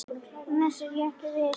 Annars er ég ekki viss.